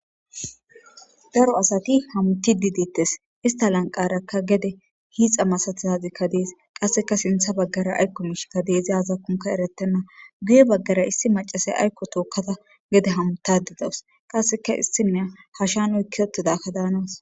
Ddro asati hamutidic deetes Ista lanqaraka gede hiixa masatizazika dees qaseka sintha bagara aazako miishika dees izi azakon eretena guye bagara issi macashiya aayako tookada hamutada daws qaseka issiniya hasha oyka uttidathoka daanaws.